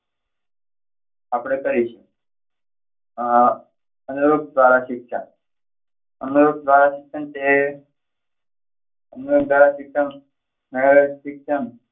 આપણે કરીશું. અમ .